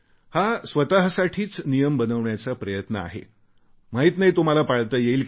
हा स्वतसाठीच नियम बनवण्याचा प्रयत्न आहे माहीत नाही तो मला पाळता येईल की नाही